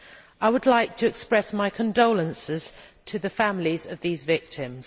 I would like to express my condolences to the families of these victims.